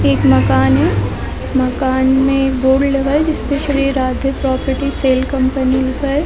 एक मकान है मकान में एक बोर्ड लगा है जिसमे Shri Radhe property sale company लिखा है।